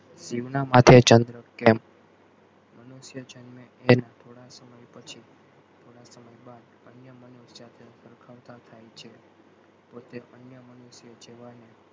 શિવ ના માથે ચંદ્ર કેમ? મનુષ્ય જન્મે એનાં થોડા સમય પછી, થોડાં સમય બાદ અન્ય મનુષ્ય સાથે સરખાવતાં થાય છે પોતે અન્ય મનુષ્ય જેવાં ને,